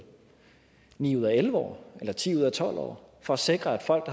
ni ud af elleve år eller ti ud af tolv år for at sikre at folk